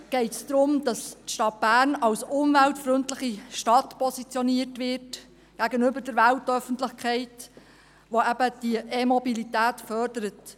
Hier geht es darum, dass die Stadt Bern als umweltfreundliche Stadt gegenüber der Weltöffentlichkeit positioniert wird, welche eben die E-Mobilität fördert.